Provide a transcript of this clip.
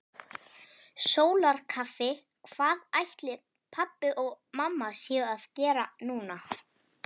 Sólarkaffi Hvað ætli pabbi og mamma séu að gera núna?